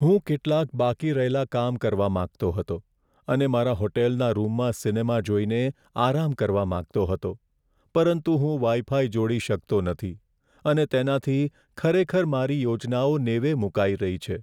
હું કેટલાક બાકી રહેલા કામ કરવા માંગતો હતો અને મારા હોટલના રૂમમાં સિનેમા જોઈને આરામ કરવા માંગતો હતો, પરંતુ હું વાઈફાઈ જોડી શકતો નથી, અને તેનાથી ખરેખર મારી યોજનાઓ નેવે મૂકાઈ રહી છે.